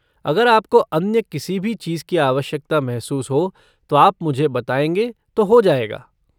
अगर आपको अन्य किसी भी चीज़ की आवश्यकता महसूस हो तो आप मुझे बताएँगे तो हो जाएगा।